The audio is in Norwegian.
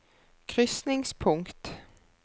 krysningspunkt